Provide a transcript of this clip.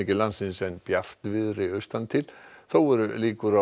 landsins en bjartviðri austan til þó eru líkur á